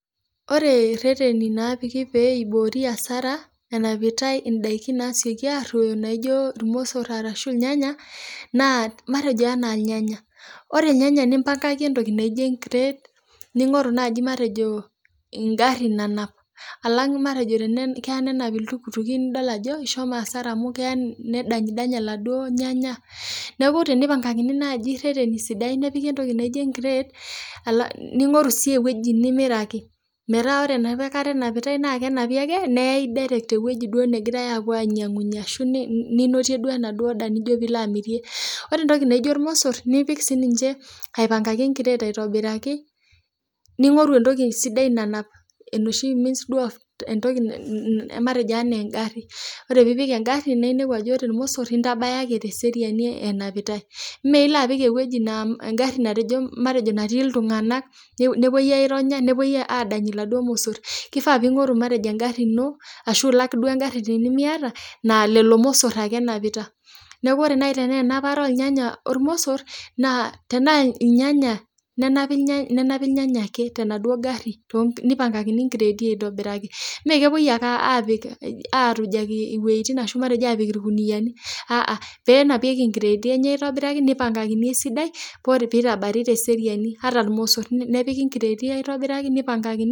Oree rreteni naapiki pee iboori asara enapitae indaikin naasioki arroyo naijo irmosor arashu irnyanya naa matejo enaa irnyanya, oree irnyanya nipangaki entoki naijo enkireet ning'oru naaji matejo engari nanap alang' matejo keya nanap iltukutuki nidol ajo ishomo asara amu keya nedany danya laduoo irnyanya nekuu teneipangakini naaji irreteni sidain nepiki entoki naijo enkiret ning'oru sii eweji nemeiraki mataa oree ena kata enapitae naa kenapi ake neyay eweji duo nagirae aapuo anyangunyie arashu ninoti duoo enaduoo daa nijo pee ilo amirie, ore entoki naijo irmosor nipik sininche aipangaki enkiret aitobiraki ning'oru entoki sidai nanap enoshi matejo enaa engari oree pee ipik angari nainepu ajo oree irmosor naintabaya ake teseriani enapitae mee ilo apik eweji naa engarimatejo natii iltung'anak nepuoi aironya nepuoi adaany iladuoo mosor keifaa ping'oru matejo engari inoo ashuu ilak duo engari tenimiataa naa lelo mosor ake enapita, neeku ore nayii tenaa enapata oo irnyanya ormosor naa tenaa irnyanya nenapi irnyanya ake tenaa duoo garri neipangakini inkreti aitobiraki mee kepoiy akee aapik arujaki iwetin arashu matejo aapik irkuniyiani peenapieki inkireeti enye aitobiraki neipangakini esidai oree pee itabari tee seriani ata irmosor nepiki inkiretii aitobiraki neipankakini